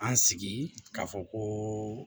An sigi k'a fɔ ko